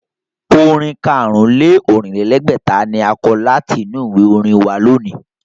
Orin karùn-ún-lé-Ọ̀rìnlẹ́gbẹ̀ta ni a kọ láti inú ìwé orin wa lónìí